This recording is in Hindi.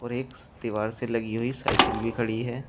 और एक दीवार से लगी हुई साइकिल भी खड़ी है।